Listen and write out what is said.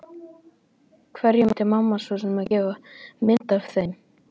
Hverjum ætti mamma svo sem að gefa mynd af þeim?